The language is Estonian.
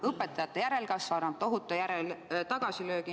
Õpetajate järelkasv annab tohutu tagasilöögi.